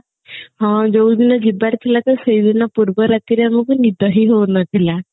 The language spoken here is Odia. ହଁ ଯୋଉ ଦିନ ଯିବାର ଥିଲା ତ ସେଇ ଦିନ ପୂର୍ବ ରାତି ରେ ଆମକୁ ନିଦ ହିଁ ହଉନଥିଲା